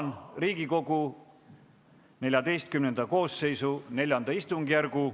Avan Riigikogu 14. koosseisu IV istungjärgu.